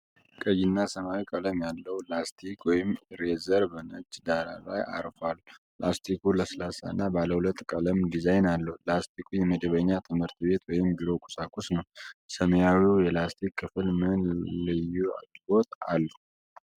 ቀይና ሰማያዊ ቀለም ያለው ላስቲክ (ኢሬዘር) በነጭ ዳራ ላይ አርፏል። ላስቲኩ ለስላሳ እና ባለ ሁለት ቀለም ዲዛይን አለው። ላስቲኩ የመደበኛ ትምህርት ቤት ወይም ቢሮ ቁሳቁስ ነው። ሰማያዊው የላስቲክ ክፍል ምን ልዩ አገልግሎት አለው?